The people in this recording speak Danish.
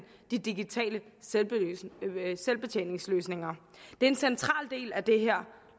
de digitale selvbetjeningsløsninger det er en central del af det her